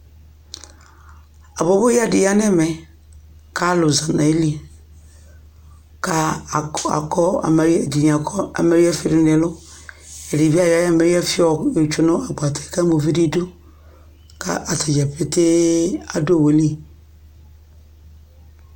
Abɔbɔyǝ dɩ ya nʋ ɛmɛ kʋ alʋ za nʋ ayili kʋ aka akɔ amaye ɛdɩnɩ akɔ amayǝfɩ dʋ nʋ ɛlʋ Ɛdɩ bɩ ayɔ ayʋ amayǝfɩ yɛ yɔ tsue nʋ agbata kʋ ama uvi nʋ idu kʋ ata dza petee adʋ owu li